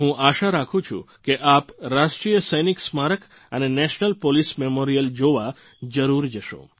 હું આશા રાખું છું કે આપ રાષ્ટ્રીય સૈનિક સ્મારક અને નેશનલ પોલીસ મેમોરીયલ જોવા જરૂર જશો